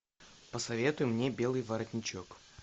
посоветуй мне белый воротничок